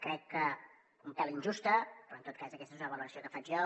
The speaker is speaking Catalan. crec que un pèl injusta però en tot cas aquesta és una valoració que faig jo